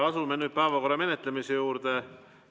Asume nüüd päevakorra menetlemise juurde.